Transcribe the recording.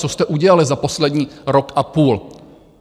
Co jste udělali za poslední rok a půl?